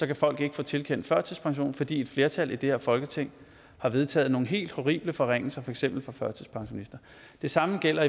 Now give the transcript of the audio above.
kan folk ikke få tilkendt førtidspension fordi et flertal i det her folketing har vedtaget nogle helt horrible forringelser for eksempel for førtidspensionister det samme gælder